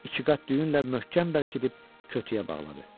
İki qat düyünlə möhkəm bərkidib kütüyə bağladı.